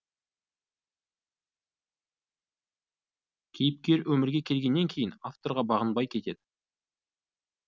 кейіпкер өмірге келгеннен кейін авторға бағынбай кетеді